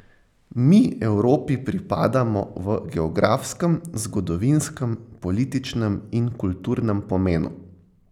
Mi Evropi pripadamo v geografskem, zgodovinskem, političnem in kulturnem pomenu.